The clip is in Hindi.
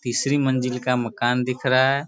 तीसरी मंजिल का मकान दिख रहा है |